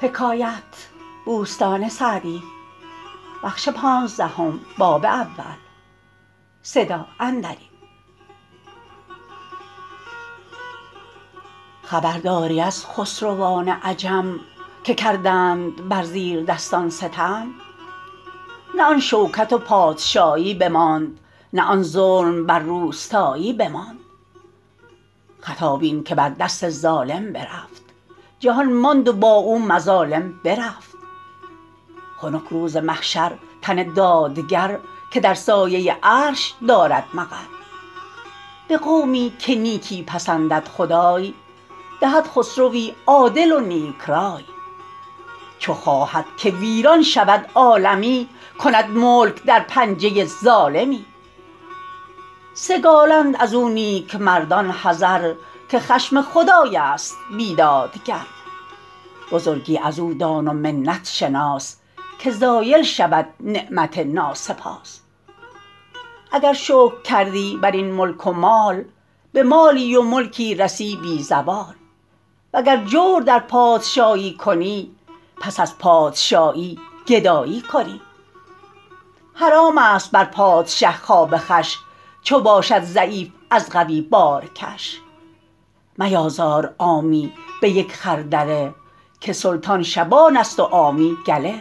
خبرداری از خسروان عجم که کردند بر زیردستان ستم نه آن شوکت و پادشایی بماند نه آن ظلم بر روستایی بماند خطا بین که بر دست ظالم برفت جهان ماند و با او مظالم برفت خنک روز محشر تن دادگر که در سایه عرش دارد مقر به قومی که نیکی پسندد خدای دهد خسروی عادل و نیک رای چو خواهد که ویران شود عالمی کند ملک در پنجه ظالمی سگالند از او نیکمردان حذر که خشم خدای است بیدادگر بزرگی از او دان و منت شناس که زایل شود نعمت ناسپاس اگر شکر کردی بر این ملک و مال به مالی و ملکی رسی بی زوال وگر جور در پادشایی کنی پس از پادشایی گدایی کنی حرام است بر پادشه خواب خوش چو باشد ضعیف از قوی بارکش میازار عامی به یک خردله که سلطان شبان است و عامی گله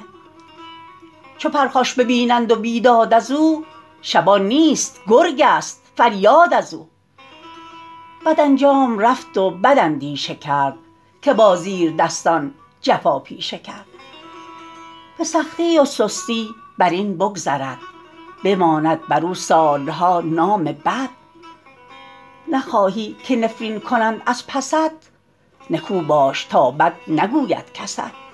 چو پرخاش بینند و بیداد از او شبان نیست گرگ است فریاد از او بد انجام رفت و بد اندیشه کرد که با زیردستان جفا پیشه کرد به سختی و سستی بر این بگذرد بماند بر او سالها نام بد نخواهی که نفرین کنند از پست نکو باش تا بد نگوید کست